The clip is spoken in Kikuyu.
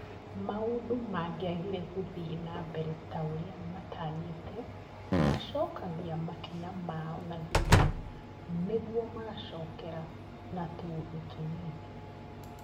Maũndũ mangïagire gũthiĩ na mbere ta ũrĩa matanyĩte, macokagia makinya maao na thutha nĩguo magacokera na tũũndũ tũnini